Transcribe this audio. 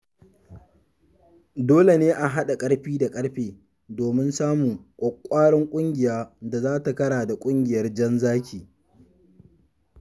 Dole ne a haɗa ƙarfi da ƙarfe don samun ƙwaƙwƙwarar ƙungiyar da za ta kara da ƙungiyar Jan Zaki.